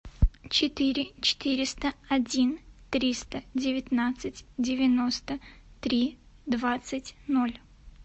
четыре четыреста один триста девятнадцать девяносто три двадцать ноль